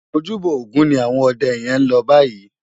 Ójúbò ógùn ni áwòn òdè yèn lò báyi